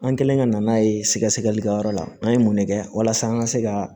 An kɛlen ka na n'a ye sɛgɛsɛlikɛyɔrɔ la an ye mun ne kɛ walasa an ka se ka